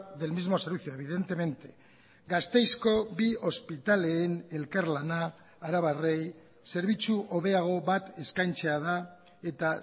del mismo servicio evidentemente gasteizko bi ospitaleen elkarlana arabarrei zerbitzu hobeago bat eskaintzea da eta